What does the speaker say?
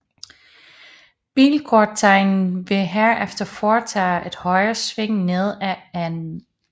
Bilkortegen ville herefter fortage et højresving ned ad N